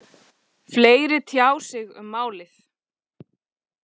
Fleiri tjá sig um málið